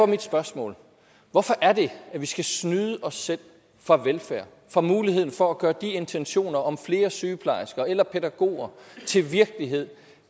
mit spørgsmål hvorfor er det at vi skal snyde os selv for velfærd for muligheden for at gøre de intentioner om flere sygeplejersker eller pædagoger til virkelighed